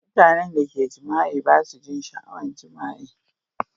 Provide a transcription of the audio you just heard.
Mutanen da ka jima'i ba su jin sha'awan jima'i.